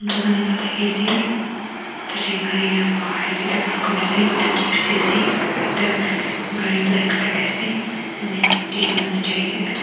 Tugan ekta thakeya ase tate gare pahar tey tuita parked kurena ase ekta jepsi ekta gare black colour te ase an a aro tate manu jaiase bhetor te--